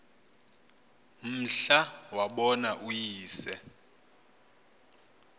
mhla wabona uyise